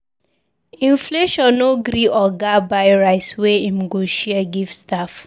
Inflation no gree oga buy rice wey im go share give staff.